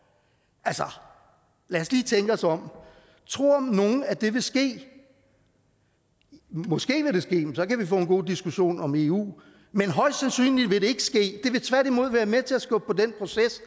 lad os lige tænke os om tror nogen at det vil ske måske vil det ske men så kan vi få en god diskussion om eu men højst sandsynligt vil det ikke ske det vil tværtimod være med til at skubbe på den proces